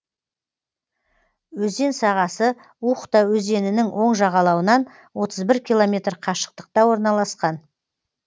өзен сағасы ухта өзенінің оң жағалауынан отыз бір километр қашықтықта орналасқан